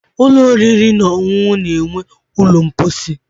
Ụlọ oriri na ọṅụṅụ na-enwe ụlọ mposi.